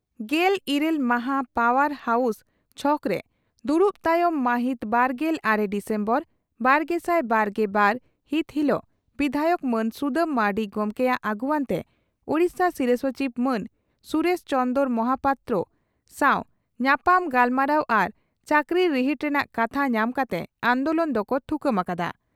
ᱜᱮᱞ ᱤᱨᱟᱹᱞ ᱢᱟᱦᱟ ᱯᱟᱣᱟᱨ ᱦᱟᱣᱥ ᱪᱷᱚᱠᱨᱮ ᱫᱩᱲᱩᱵ ᱛᱟᱭᱚᱢ ᱢᱟᱹᱦᱤᱛ ᱵᱟᱨᱜᱮᱞ ᱟᱨᱮ ᱰᱤᱥᱮᱢᱵᱚᱨ ᱵᱟᱨᱜᱮᱥᱟᱭ ᱵᱟᱨᱜᱮ ᱵᱟᱨ ᱦᱤᱛ ᱦᱤᱞᱚᱜ ᱵᱤᱫᱷᱟᱭᱚᱠ ᱢᱟᱱ ᱥᱩᱫᱟᱹᱢ ᱢᱟᱨᱱᱰᱤ ᱜᱚᱢᱠᱮᱭᱟᱜ ᱟᱹᱜᱩᱣᱟᱹᱱᱛᱮ ᱳᱰᱤᱥᱟ ᱥᱤᱨᱟᱹ ᱥᱚᱪᱤᱵᱽ ᱢᱟᱱ ᱥᱩᱨᱮᱥ ᱪᱚᱱᱫᱽᱨᱚ ᱢᱚᱦᱟᱯᱟᱛᱨᱚ ᱥᱟᱣ ᱧᱟᱯᱟᱢ ᱜᱟᱞᱢᱟᱨᱟᱣ ᱟᱨ ᱪᱟᱹᱠᱨᱤ ᱨᱤᱦᱤᱴ ᱨᱮᱱᱟᱜ ᱠᱟᱛᱷᱟ ᱧᱟᱢ ᱠᱟᱛᱮ ᱟᱱᱫᱚᱞᱚᱱ ᱫᱚᱠᱚ ᱛᱷᱩᱠᱟᱹᱢ ᱟᱠᱟᱫᱼᱟ ᱾